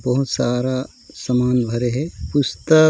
बहुत सारा सामान भरे हे पुस्तक--